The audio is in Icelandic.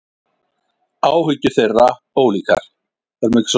Áhyggjur þeirra ólíkar.